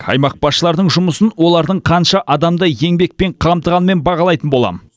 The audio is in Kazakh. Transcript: аймақ басшыларының жұмысын олардың қанша адамды еңбекпен қамтығанымен бағалайтын боламын